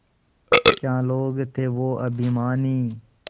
क्या लोग थे वो अभिमानी